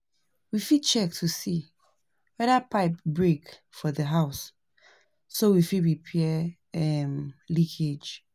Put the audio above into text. We fit check to see weda pipe break for the house so we fit repair um leakage